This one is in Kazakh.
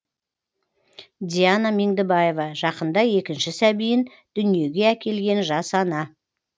диана меңдібаева жақында екінші сәбиін дүниеге әкелген жас ана